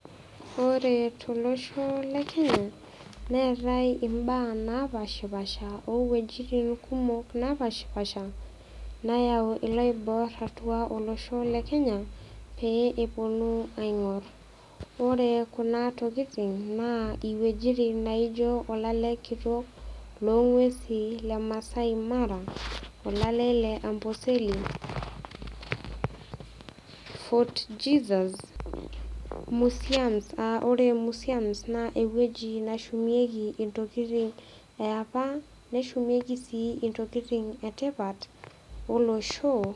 Ore tolosho le Kenya neatai imbaa naapaashipaasha o wuejitin kumok naapaashipaasha nayau iloibor atua olosho le Kenya pee ewuonu aing'or. Ore kuna tokitin naa iwuejitin naijo olale kitok lolng'uesi le Maasai Mara, olale le Amboseli, Fort Jesus, museum a ore museum naa ewueji nashumieki intokitin e apa neshumieki sii intokitin e tipat olosho.